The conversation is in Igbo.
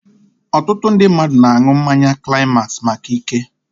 Otutu ndị mmadụ na-aṅụ mmanya climax maka ike